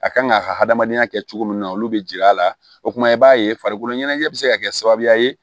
A kan k'a ka hadamadenya kɛ cogo min na olu bɛ jir'a la o kuma i b'a ye farikolo ɲɛnajɛ bɛ se ka kɛ sababuya ye